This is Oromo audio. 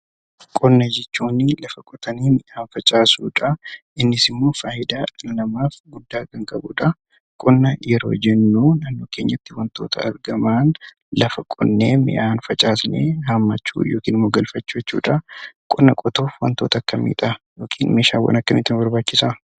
Qonna jechuun lafa qotanii midhaan facaasuudha. Innis immoo namaaf faayidaa guddaa kan qabudha. Qonna yeroo jennu naannoo keenyatti wantoota argaman lafa qonnee midhaan facaasnee haammachuu yookiin immoo galfachuu jechuudha. Qonna qotuuf meeshaawwan akkamii nu barbaachisa?